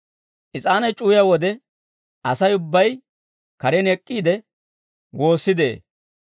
Is'aanay c'uwiyaa wode Asay ubbay karen ek'k'iide woossi de'ee.